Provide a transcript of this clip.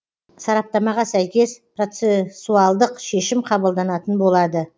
сараптамаға сәйкес процесуалдық шешім қабылданатын болады